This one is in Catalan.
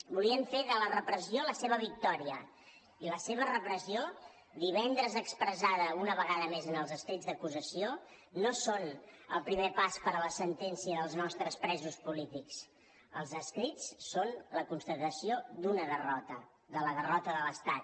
volien fer de la repressió la seva victòria i la seva repressió divendres expressada una vegada més en els escrits d’acusació no són el primer pas per a la sentència dels nostres presos polítics els escrits són la constatació d’una derrota de la derrota de l’estat